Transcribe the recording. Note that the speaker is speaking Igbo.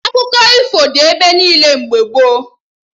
Akụkọ ifo dị ebe niile mgbe gboo